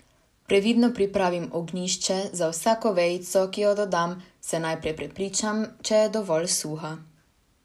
Previdno pripravim ognjišče, za vsako vejico, ki jo dodam, se najprej prepričam, če je dovolj suha.